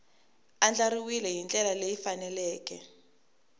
andlariwile hi ndlela leyi faneleke